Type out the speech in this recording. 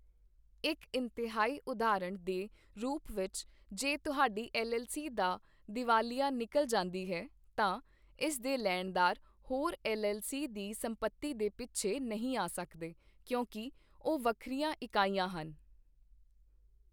ਇੱਕ ਇੰਤਹਾਈ ਉਦਾਹਰਣ ਦੇ ਰੂਪ ਵਿੱਚ, ਜੇ ਤੁਹਾਡੀ ਐੱਲ.ਐੱਲ.ਸੀ ਦਾ ਦੀਵਾਲੀਆ ਨਿਕਲ ਜਾਂਦੀ ਹੈ, ਤਾਂ ਇਸ ਦੇ ਲੇਣਦਾਰ ਹੋਰ ਐੱਲ.ਐੱਲ.ਸੀ ਦੀ ਸੰਪਤੀ ਦੇ ਪਿੱਛੇ ਨਹੀਂ ਆ ਸਕਦੇ, ਕਿਉਂਕਿ ਉਹ ਵੱਖਰੀਆਂ ਇਕਾਈਆਂ ਹਨ।